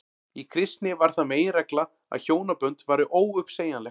í kristni varð það meginregla að hjónabönd væru óuppsegjanleg